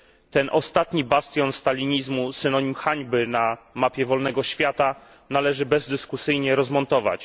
Ten ostatni bastion stalinizmu, synonim hańby na mapie wolnego świata należy bezdyskusyjnie rozmontować.